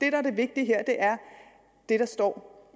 er det vigtige er det der står